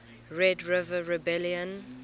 red river rebellion